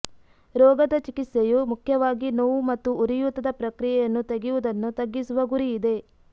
ರೋಗದ ಚಿಕಿತ್ಸೆಯು ಮುಖ್ಯವಾಗಿ ನೋವು ಮತ್ತು ಉರಿಯೂತದ ಪ್ರಕ್ರಿಯೆಯನ್ನು ತೆಗೆಯುವುದನ್ನು ತಗ್ಗಿಸುವ ಗುರಿ ಇದೆ